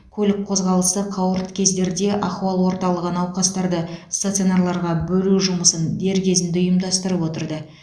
көлік қозғалысы қауырт кездерде ахуал орталығы науқастарды стационарларға бөлу жұмысын дер кезінде ұйымдастырып отырды